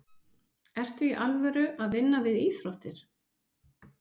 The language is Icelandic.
Ertu í alvöru að vinna við íþróttir?